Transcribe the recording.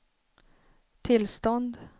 tillstånd